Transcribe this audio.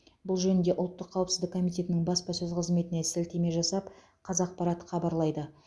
бұл жөнінде ұлттық қауіпсіздік комитетінің баспасөз қызметіне сілтеме жасап қазақпарат хабарлайды